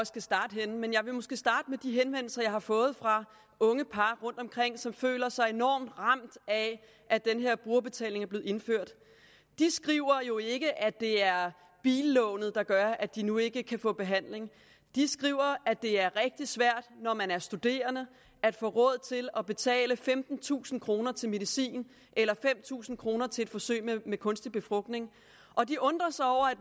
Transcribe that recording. skal starte men jeg vil måske starte med de henvendelser jeg har fået fra unge par rundtomkring som føler sig enormt ramt af at den her brugerbetaling er blevet indført de skriver jo ikke at det er billånet der gør at de nu ikke kan få behandling de skriver at det er rigtig svært når man er studerende at få råd til at betale femtentusind kroner til medicin eller fem tusind kroner til et forsøg med kunstig befrugtning og de undrer sig over at